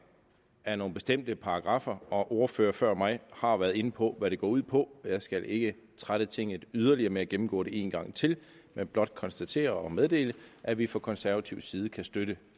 af nogle bestemte paragraffer og ordførere før mig har været inde på hvad det går ud på jeg skal ikke trætte tinget yderligere med at gennemgå det en gang til men blot konstatere og meddele at vi fra konservativ side kan støtte